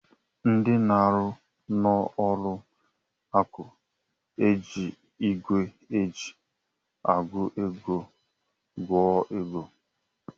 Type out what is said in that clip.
Ndị na-arụ n'ụlọ akụ ga-eji igwe eji agụ ego gụọ ego.